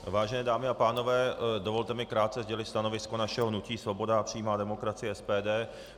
Vážené dámy a pánové, dovolte mi krátce sdělit stanovisko našeho hnutí Svoboda a přímá demokracie - SPD.